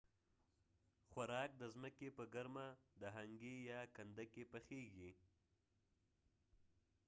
د هنګي یا hangi خوراک د ځمکې په ګرمه کنده کې پخیږي